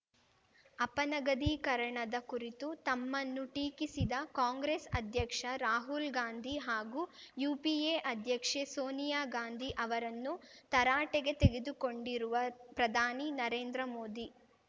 ಅಪನಗದೀಕರಣದ ಕುರಿತು ತಮ್ಮನ್ನು ಟೀಕಿಸಿದ ಕಾಂಗ್ರೆಸ್‌ ಅಧ್ಯಕ್ಷ ರಾಹುಲ್‌ ಗಾಂಧಿ ಹಾಗೂ ಯುಪಿಎ ಅಧ್ಯಕ್ಷೆ ಸೋನಿಯಾ ಗಾಂಧಿ ಅವರನ್ನು ತರಾಟೆಗೆ ತೆಗೆದುಕೊಂಡಿರುವ ಪ್ರಧಾನಿ ನರೇಂದ್ರ ಮೋದಿ